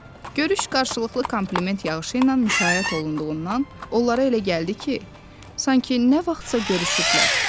Görüş qarşılıqlı kompliment yağışı ilə müşayiət olunduğundan onlara elə gəldi ki, sanki nə vaxtsa görüşüblər.